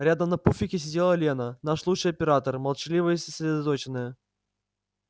рядом на пуфике сидела лена наш лучший оператор молчаливая и сосредоточенная